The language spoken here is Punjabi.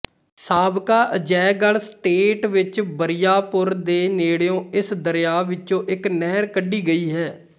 ਸਾਬਕਾ ਅਜੈਗੜ੍ਹ ਸਟੇਟ ਵਿੱਚ ਬਰਿਆਪੁਰ ਦੇ ਨੇੜਿਉਂ ਇਸ ਦਰਿਆ ਵਿਚੋਂ ਇੱਕ ਨਹਿਰ ਕੱਢੀ ਗਈ ਹੈ